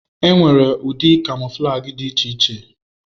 Enwere ụdị kamọflajị dị iche iche.